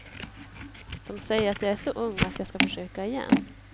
De säger att jag är så ung och att jag ska försöka igen.